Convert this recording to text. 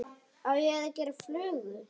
Á ég að gera flugu?